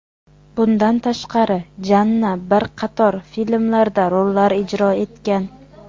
Bundan tashqari, Janna bir qator filmlarda rollar ijro etgan.